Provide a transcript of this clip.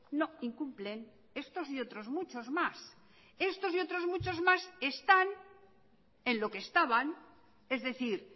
no incumplen estos y otros muchos más estos y otros muchos más están en lo que estaban es decir